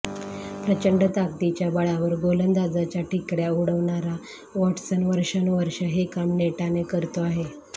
प्रचंड ताकदीच्या बळावर गोलंदाजाच्या ठिकऱ्या उडवणारा वॉटसन वर्षानुवर्षे हे काम नेटाने करतो आहे